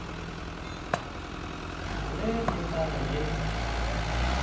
ge le ka re ge